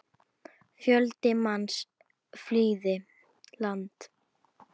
Fjöldi manns flýði land.